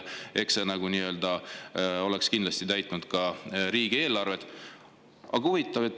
Eks see oleks kindlasti riigieelarvet täitnud.